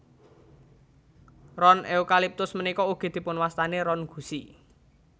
Ron eukaliptus punika ugi dipunwastani ron gusi